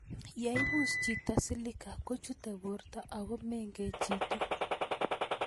Ye ipus chito Silica kochute porto ako meng'echitu